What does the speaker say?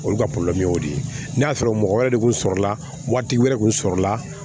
Olu ka y'o de ye n'a sɔrɔ mɔgɔ wɛrɛ de kun sɔrɔla wari tigi wɛrɛ kun sɔrɔla